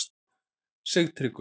Sigtryggur